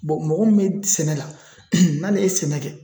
Bɔn mɔgɔ min be sɛnɛ la n'ale ye sɛnɛ kɛ